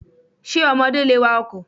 Ṣé ọmọdé lè wa ọkọ̀?